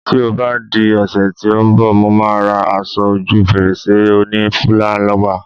Ti o ba di òsè ti o n bò, Mo ma ra aso oju fèrèsé oni fúláwà